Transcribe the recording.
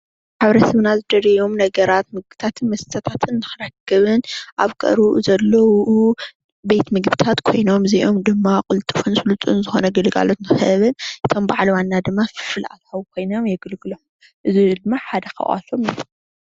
ኣብ ሕብረተሰብና ዝደልዎም ነገራት ምግብታት መስተታትን ንኽረክብን ኣብ ቀረብኡ ዘለው ቤት ምግምብታት ኮይኖም እዚአም ድማ ቅልጥፍን ስልጡን ዝኾነ ግልጋሎት ንኽህብን ከም ባዓል ዋና ድማ ፍልፍል ኣታዊ ኮይኖም የገልግሎም፡፡ እዚ ድማ ሓደ ካብቶም እዩ፡፡